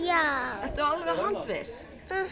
ertu alveg handviss mhm